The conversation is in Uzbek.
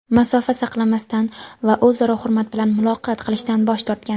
masofa saqlamasdan va o‘zaro hurmat bilan muloqot qilishdan bosh tortgan.